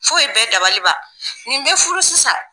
Fo ye bɛɛ dabaliba nin bɛ furu sisan.